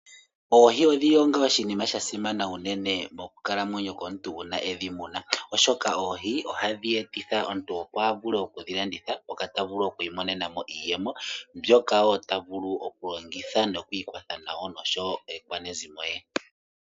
Oohi odhi li onga oshinima sha simana unene mokukalamwenyo komuntu uuna e dhi muna, oshoka oohi ohadhi etitha omuntu opo a vule oku dhi landitha moka ta vulu oku imonena mo iiyemo mbyoka wo ta vulu okulongitha nokwiikwatha nayo nosho wo aakwanezimo ye.